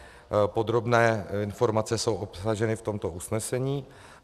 Podrobné informace jsou obsaženy v tomto usnesení.